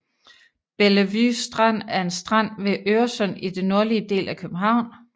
Bellevue Strand er en strand ved Øresund i den nordlige del af København